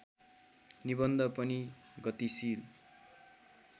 निबन्ध पनि गतिशील